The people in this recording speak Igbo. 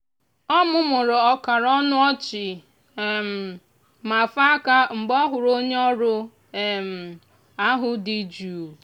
o mumuru ọkara ọnụ ọchị um ma fee aka mgbe ọ hụrụ onye ọrụ um ahụ dị jụụ. um